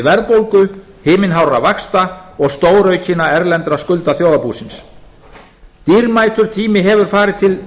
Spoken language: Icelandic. verðbólgu himinhárra vaxta og stóraukinna erlendra skulda þjóðarbúsins dýrmætur tími hefur farið til